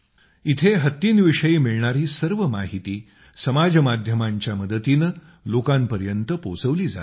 इथं हत्तींविषयी मिळणारी सर्व माहिती समाज माध्यमांच्या मदतीनं लोकांपर्यंत पोहोचवली जात आहे